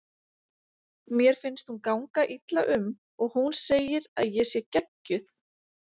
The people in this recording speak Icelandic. Mér finnst hún ganga illa um og hún segir að ég sé geggjuð.